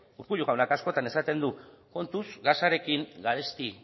urkullu jaunak askotan esaten du kontuz gasarekin garesti